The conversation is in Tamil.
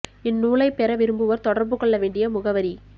இந் நூலை பெற விரும்புவோர் தொடர்பு கொள்ள வேண்டிய முகவரி